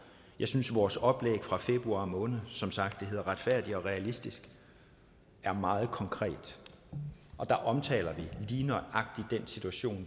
jeg synes vores oplæg fra februar måned som sagt hedder retfærdig og realistisk er meget konkret og der omtaler vi lige nøjagtig den situation